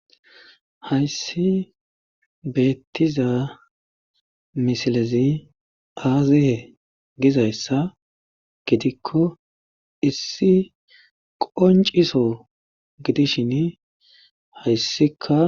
Hayssi beettiza misilezi aazaye gizayssa gidikko issi qonciso gidishin hayssika